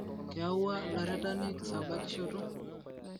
Keewua lairitani kisabakishoto